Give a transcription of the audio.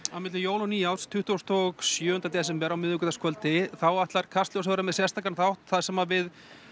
milli jóla og nýárs tuttugasta og sjöunda desember á miðvikudagskvöldi þá ætlar Kastljós að vera með sérstakan þátt þar sem að við